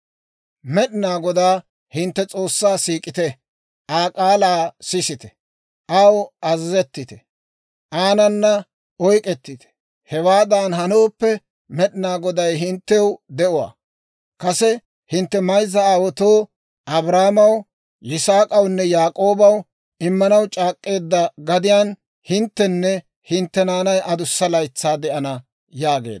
Med'inaa Godaa hintte S'oossaa siik'ite; Aa k'aalaa sisite, aw azazettite; aanana oyk'k'etite. Hewaadan hanooppe, Med'inaa Goday hinttew de'uwaa. Kase hintte mayzza aawaatoo, Abrahaamaw, Yisaak'awunne Yaak'oobaw immanaw c'aak'k'eedda gadiyaan hinttenne hintte naanay adussa laytsaa de'ana» yaageedda.